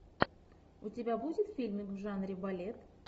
у тебя будет фильмик в жанре балет